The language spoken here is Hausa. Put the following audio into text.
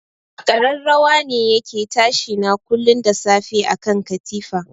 Kararrawa ne yake tashi na kullun da safe akan katifa.